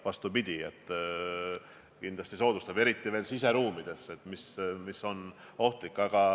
Vastupidi, kindlasti see soodustab selle levikut – toimub see ju siseruumides, mis on ohtlik.